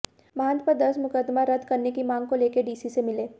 महंत पर दर्ज मुकदमा रद्द करनेे की मांग को लेकर डीसी से मिले